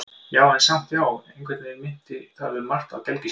Já, en samt- já, einhvern veginn minnti það um margt á gelgjuskeiðið.